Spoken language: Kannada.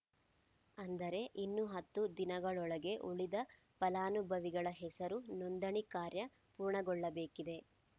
ಅಂದರೆ ಇನ್ನು ಹತ್ತು ದಿನದೊಳಗೆ ಉಳಿದ ಫಲಾನುಭವಿಗಳ ಹೆಸರು ನೋಂದಣಿ ಕಾರ್ಯ ಪೂರ್ಣಗೊಳ್ಳಬೇಕಿದೆ